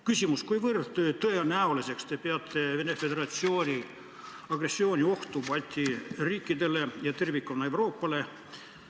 Küsimus: kui tõenäoliseks te peate Vene Föderatsiooni agressiooni ohtu Balti riikidele ja tervikuna Euroopale?